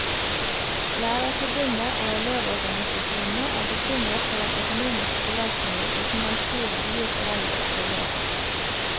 Lærerforbundet og elevorganisasjonene er bekymret for den økonomiske belastningen utenlandsturer gir foreldre og elever.